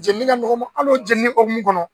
Jeni ka nɔgɔ n ma hal'o jenini hukumu kɔnɔ